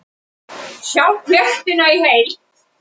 Sjá fréttina í heild